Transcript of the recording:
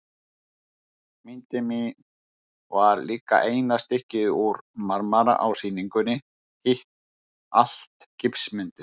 Myndin mín var líka eina stykkið úr marmara á sýningunni, hitt allt gifsmyndir.